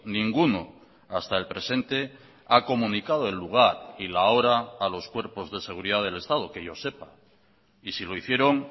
ninguno hasta el presente ha comunicado el lugar y la hora a los cuerpos de seguridad del estado que yo sepa y si lo hicieron